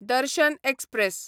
दर्शन एक्सप्रॅस